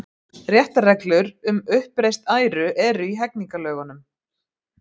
Réttarreglur um uppreist æru eru í hegningarlögunum.